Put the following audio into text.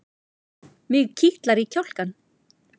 Mig kitlar í kjálkann.